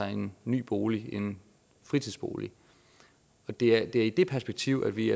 en ny bolig en fritidsbolig og det er i det perspektiv at vi i